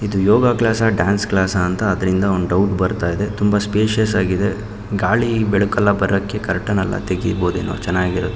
ಇದು yoga class dance class ಅಂತ ಅದ್ರಿಂದ ಒಂದ್ ಡೌಟ್ ಬರ್ತಾ ಇದೆ ತುಂಬಾ ಸ್ಪೇಶಿಯಸ್ ಆಗಿದೆ ಗಾಳಿ ಬೆಳಕೆಲ್ಲಾ ಬರಕ್ಕೆ ಕರ್ಟನ್ ಎಲ್ಲಾ ತಗಿಬೋಹುದೇನೊ ಚನ್ನಗಿರ --